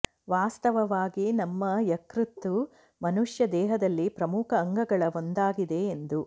ವಾಸ್ತವವಾಗಿ ನಮ್ಮ ಯಕೃತ್ತು ಮನುಷ್ಯ ದೇಹದಲ್ಲಿ ಪ್ರಮುಖ ಅಂಗಗಳ ಒಂದಾಗಿದೆ ಎಂದು